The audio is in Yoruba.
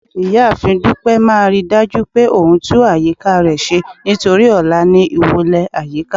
ìyáàfín dupẹ má ridaju pé òun tún àyíká re ṣe nítorí ọlá ní ìwọlè ayika